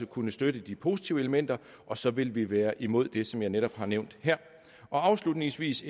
kunne støtte de positive elementer og så vil vi være imod det som jeg netop har nævnt her afslutningsvis